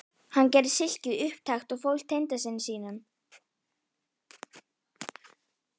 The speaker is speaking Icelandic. Hann gerði silkið upptækt og fól tengdasyni sínum